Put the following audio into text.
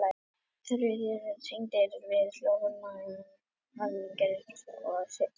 Þeir eru tengdir við hljóðhimnuna, hamarinn og steðjann.